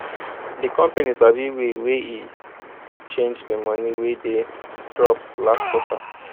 di company sabi way wey e take change di money wey dey drop last quarter